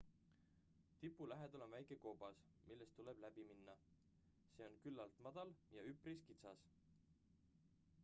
tipu lähedal on väike koobas millest tuleb läib minna see on küllalt madal ja üpris kitsas